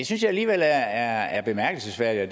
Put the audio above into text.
synes jeg alligevel er bemærkelsesværdigt og